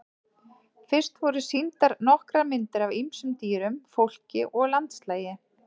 Fyrst voru sýndar nokkrar myndir af ýmsum dýrum, fólki og landslagi.